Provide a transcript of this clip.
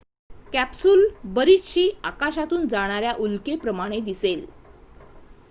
capsule बरीचशी आकाशातून जाणाऱ्या उल्केप्रमाणे दिसेल